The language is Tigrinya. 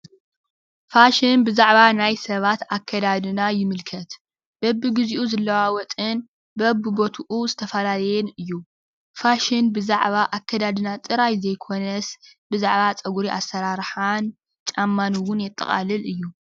ፋሽን ብዛዕባ ናይ ሰባት ኣከዳድና ይምልከት:: በብግዚኡ ዝለዋወጥን በብቦትኡ ዝተፈላለየን እዩ:: ፋሽን ብዛዕባ ኣከዳድና ዝገልፅ ጥራሕ ተይኮነስ ብዛዕባ ፀጉሪ ኣሰራርሓን ጫማን እውን የጠቃልል እዩ ።